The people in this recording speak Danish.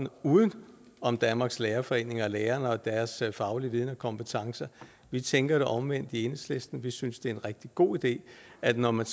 uden om danmarks lærerforening og lærerne og deres faglige viden og kompetencer vi tænker det omvendte i enhedslisten vi synes det er en rigtig god idé at det når man